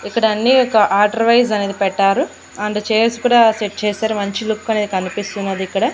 ఇక్కడ అన్ని ఒక ఆర్డర్ వైస్ అనేది పెట్టారు అండ్ చైర్స్ కూడా సెట్ చేశారు మంచి లుక్ అనేది కనిపిస్తున్నది ఇక్కడ.